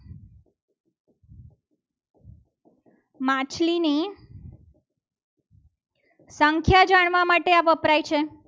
માછલી ની સંખ્યા જાણવા માટે આ વપરાય છે.